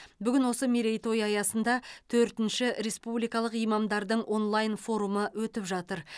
бүгін осы мерейтой аясында төртінші республикалық имамдардың онлайн форумы өтіп жатыр